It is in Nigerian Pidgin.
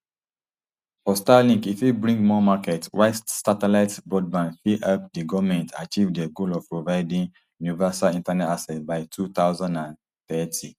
for starlink e fit bring more market while satellite broadband fit help di goment achieve dia goal of providing universal internet access by two thousand and thirty